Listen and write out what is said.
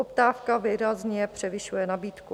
Poptávka výrazně převyšuje nabídku.